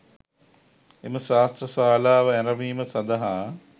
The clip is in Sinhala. එම ශාස්ත්‍ර ශාලාව ඇරැඹීම සඳහා